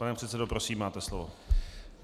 Pane předsedo, prosím, máte slovo.